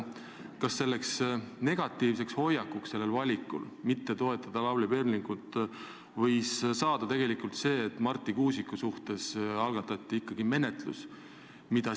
Kas selle negatiivse hoiaku, selle tahtmatuse taga toetada Lavly Perlingut ei ole tegelikult see, et Marti Kuusiku suhtes algatati ikkagi menetlus?